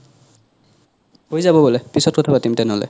হৈ যব বোলে পিছত কথা পাতিম তেনে হ'লে